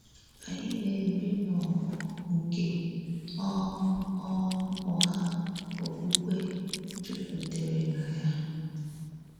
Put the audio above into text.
Ányị na-èbí n’ọgbọ̀ nke um um ụ̀ghà òkpùkpè jùpùtèrè na ya.